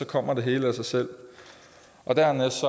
kommer det hele af sig selv dernæst